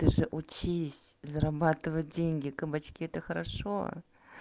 ты же учись зарабатывать деньги кабачки это хорошо